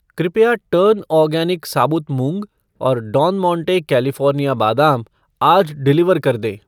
कृपया turn organic साबुत मूंग और डॉन मोंटे कैलिफ़ोर्निया बादाम आज डिलीवर कर दें।